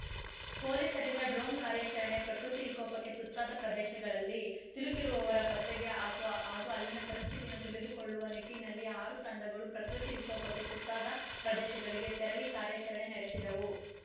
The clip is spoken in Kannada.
ಪೊಲೀಸರಿಂದ ಡ್ರೋನ್‌ ಕಾರ್ಯಾಚರಣೆ ಪ್ರಕೃತಿ ವಿಕೋಪಕ್ಕೆ ತುತ್ತಾದ ಪ್ರದೇಶಗಳಲ್ಲಿ ಸಿಲುಕಿರುವವರ ಪತ್ತೆಗೆ ಹಾಕೊ ಹಾಗೂ ಅಲ್ಲಿನ ಪರಿಸ್ಥಿತಿಯನ್ನು ತಿಳಿದುಕೊಳ್ಳುವ ನಿಟ್ಟಿನಲ್ಲಿ ಆರು ತಂಡಗಳು ಪ್ರಕೃತಿ ವಿಕೋಪಕ್ಕೆ ತುತ್ತಾದ ಪ್ರದೇಶಗಳಿಗೆ ತೆರಳಿ ಕಾರ್ಯಾಚರಣೆ ನಡೆಸಿದವು